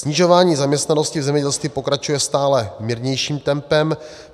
Snižování zaměstnanosti v zemědělství pokračuje stále mírnějším tempem.